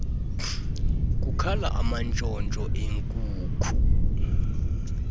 kukhala amantshontsho enkuku